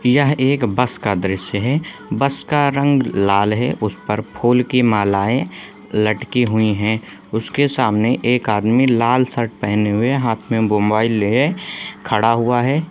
यह एक बस का दृश्य है बस का रंग लाल है उसपर फूल की मालाएं लटकी हुई है उसके सामने एक आदमी लाल शर्ट पहने हुए हाथ में मोबाइल लिए खड़ा हुआ हैं।